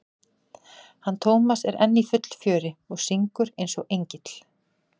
hann Tómas er enn í fullu fjöri og syngur eins og engill.